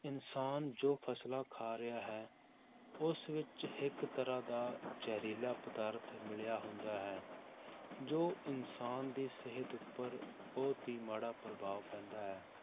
ਇਨਸਾਨ ਜੋ ਫਸਲਾਂ ਖਾ ਰਿਹਾ ਹੈ, ਉਸ ਵਿੱਚ ਇੱਕ ਤਰ੍ਹਾਂ ਦਾ ਜ਼ਹਿਰੀਲਾ ਪਦਾਰਥ ਮਿਲਿਆ ਹੁੰਦਾ ਹੈ ਜੋ ਇਨਸਾਨ ਦੀ ਸਿਹਤ ਉੱਪਰ ਬਹੁਤ ਹੀ ਮਾੜਾ ਪ੍ਰਭਾਵ ਪੈਂਦਾ ਹੈ,